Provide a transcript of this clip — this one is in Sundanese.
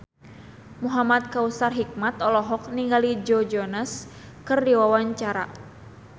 Muhamad Kautsar Hikmat olohok ningali Joe Jonas keur diwawancara